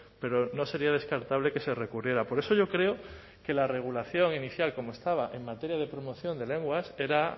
pero no sería descartable que se recurriera por eso yo creo que la regulación inicial como estaba en materia de promoción de lenguas era